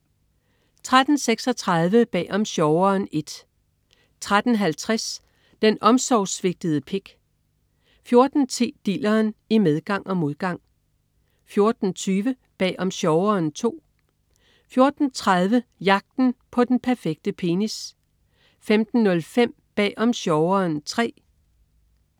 13.36 Bag om sjoveren I* 13.50 Den omsorgssvigtede pik* 14.10 Dilleren, i medgang og modgang* 14.20 Bag om sjoveren II* 14.30 Jagten på den perfekte penis* 15.05 Bag om sjoveren III*